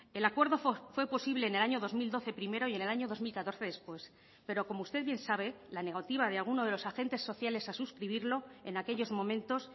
el acuerdo fue posible en el año dos mil doce primero y en el año dos mil catorce después pero como usted bien sabe la negativa de alguno de los agentes sociales a suscribirlo en aquellos momentos